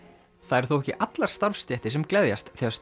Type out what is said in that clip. það eru þó ekki allar starfsstéttir sem gleðjast þegar